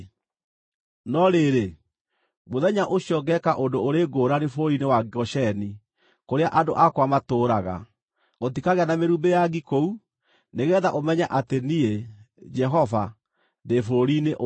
“ ‘No rĩrĩ, mũthenya ũcio ngeeka ũndũ ũrĩ ngũrani bũrũri-inĩ wa Gosheni, kũrĩa andũ akwa matũũraga; gũtikagĩa na mĩrumbĩ ya ngi kũu, nĩgeetha ũmenye atĩ niĩ, Jehova, ndĩ bũrũri-inĩ ũyũ.